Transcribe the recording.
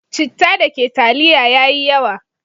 Citta da ke taliya ya yi yawa.